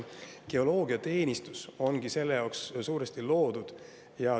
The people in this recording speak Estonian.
Geoloogiateenistus ongi suuresti selle jaoks loodud.